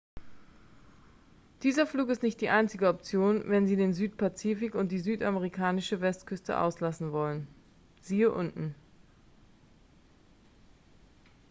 dieser flug ist nicht die einzige option wenn sie den südpazifik und die südamerikanische westküste auslassen wollen. siehe unten